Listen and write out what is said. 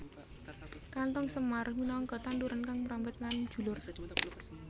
Kanthong semar minangka tanduran kang mrambat lan njulur